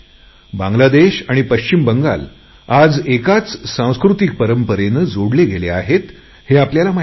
बांगलादेश आणि पश्चिमबंगाल आज एकाच सांस्कृतिक परंपरेने जोडलेले आहे हे आपल्याला माहिती आहे